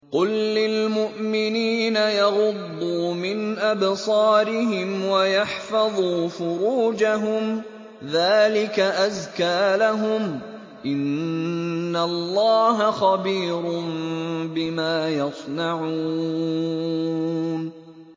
قُل لِّلْمُؤْمِنِينَ يَغُضُّوا مِنْ أَبْصَارِهِمْ وَيَحْفَظُوا فُرُوجَهُمْ ۚ ذَٰلِكَ أَزْكَىٰ لَهُمْ ۗ إِنَّ اللَّهَ خَبِيرٌ بِمَا يَصْنَعُونَ